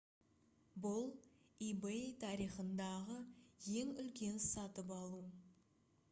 бұл ebay тарихындағы ең үлкен сатып алу